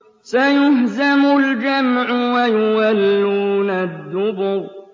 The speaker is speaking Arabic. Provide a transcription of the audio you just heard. سَيُهْزَمُ الْجَمْعُ وَيُوَلُّونَ الدُّبُرَ